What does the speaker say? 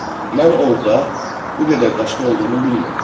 Mən orda bu qədər daşın olduğunu bilmirdim.